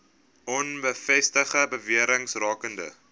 onbevestigde bewerings rakende